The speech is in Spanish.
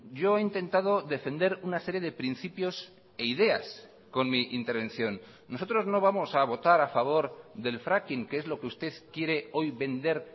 yo he intentado defender una serie de principios e ideas con mi intervención nosotros no vamos a votar a favor del fracking que es lo que usted quiere hoy vender